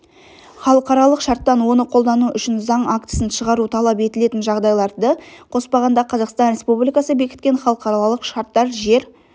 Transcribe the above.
халықаралық шарттан оны қолдану үшін заң актісін шығару талап етілетін жағдайларды қоспағанда қазақстан республикасы бекіткен халықаралық шарттар жер